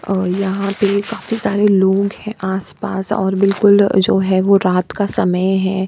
और यहाँ पे काफी सारे लोग हैं आसपास और बिल्कुल जो है वो रात का समय है।